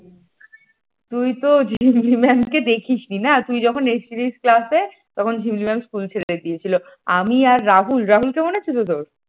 তুই তো ঝিমলি ম্যাম দেখিস নি না তুই যখন এসেছিলিস class তখন ঝিমলি ম্যাম school ছেড়ে দিয়েছিল আমি আর রাহুল রাহুলকে মনে আছে তো তোর?